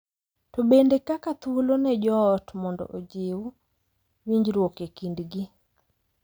To bende kaka thuolo ne joot mondo ojing’ winjruok e kindgi .